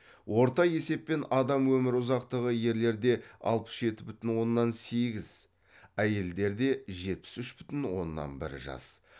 орта есеппен адам өмір ұзақтығы ерлерде апыс жеті бүтін оннан сегіз әйелдерде жетпіс үш бүтін оннан бір жас